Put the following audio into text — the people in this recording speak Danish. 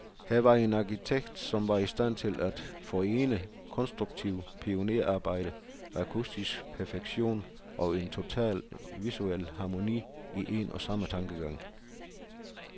Her var en arkitekt, som var i stand til at forene konstruktivt pionerarbejde, akustisk perfektion, og en total visuel harmoni, i en og samme tankegang.